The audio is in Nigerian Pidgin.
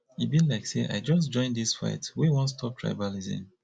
e be like sey i just join dis fight wey wan stop tribalism